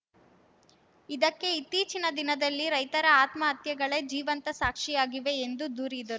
ಇದಕ್ಕೆ ಇತ್ತೀಚಿನ ದಿನದಲ್ಲಿ ರೈತರ ಆತ್ಮಹತ್ಯೆಗಳೇ ಜೀವಂತ ಸಾಕ್ಷಿಯಾಗಿವೆ ಎಂದು ದೂರಿದ